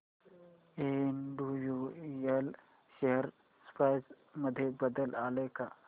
Andrew Yule share price मध्ये बदल आलाय का